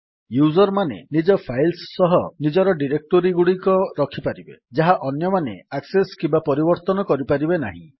user ମାନେ ନିଜ files ସହ ନିଜର ଡିରେକ୍ଟୋରୀଗୁଡିକ ରଖିପାରିବେ ଯାହା ଅନ୍ୟମାନେ ଆକ୍ସେସ୍ କିମ୍ୱା ପରିବର୍ତ୍ତନ କରିପାରିବେ ନାହିଁ